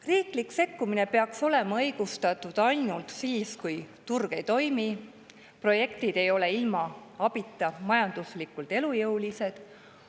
Riiklik sekkumine peaks olema õigustatud ainult siis, kui turg ei toimi ja projektid ei ole ilma abita majanduslikult elujõulised.